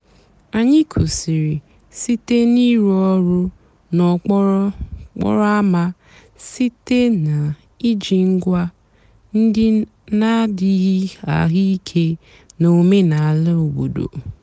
ányị́ kwụ́sị́rị́ sìté n'ị̀rụ́ ọ̀rụ́ n'òkpòró ámá sìté nà íjí ǹgwá ndị́ nà-àdíghị́ àhụ́ íké nà ọ̀mènàlà òbòdo.